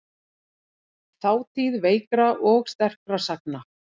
Þátíð veikra og sterkra sagna.